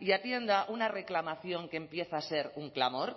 y atienda una reclamación que empieza a ser un clamor